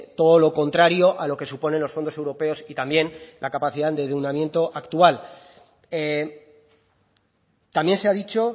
todo lo contrario a lo que suponen los fondos europeos y también la capacidad de endeudamiento actual también se ha dicho